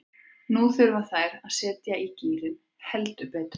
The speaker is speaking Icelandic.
Nú þurfa þær að setja í gírinn, heldur betur.